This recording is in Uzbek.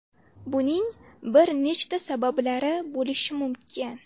Buning bir nechta sabablari bo‘lishi mumkin.